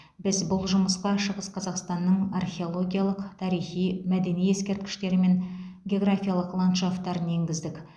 біз бұл жұмысқа шығыс қазақстанның археологиялық тарихи мәдени ескерткіштері мен географиялық ландшафтарын енгіздік